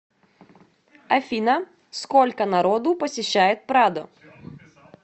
афина сколько народу посещает прадо